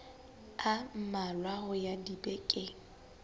a mmalwa ho ya dibekeng